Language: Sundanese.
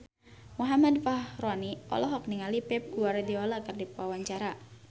Muhammad Fachroni olohok ningali Pep Guardiola keur diwawancara